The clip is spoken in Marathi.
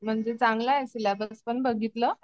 म्हणजे चांगलं आहे सिलॅबस पण बघितलं.